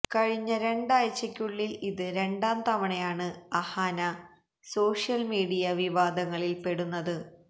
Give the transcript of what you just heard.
കഴിഞ്ഞ രണ്ടാഴ്ചയ്ക്കുള്ളില് ഇത് രണ്ടാം തവണയാണ് അഹാന സോഷ്യല് മീഡിയ വിവാദങ്ങളില് പെടുന്നത്